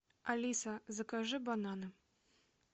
алиса закажи бананы